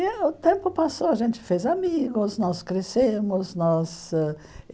E o tempo passou, a gente fez amigos, nós crescemos. Nós ãh